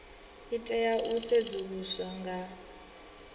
i tea u sedzuluswa nga